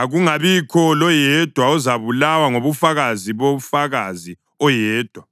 akungabikho loyedwa ozabulawa ngobufakazi bofakazi oyedwa.